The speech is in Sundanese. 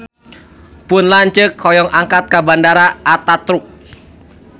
Pun lanceuk hoyong angkat ka Bandara Ataturk